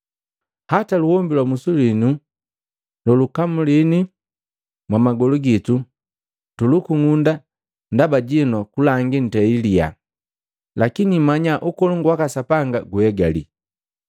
‘Hata luombi lwa musi winu gagakamulini mwamagolu gitu, tugakung'unda ndaba jinu kulangi ntei liyaha. Lakini mmanya ukolongu waka Sapanga gunhegali.’